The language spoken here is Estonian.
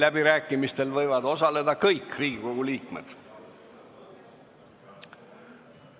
Läbirääkimistel võivad osaleda kõik Riigikogu liikmed.